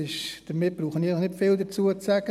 » Dazu brauche ich ja nicht viel zu sagen.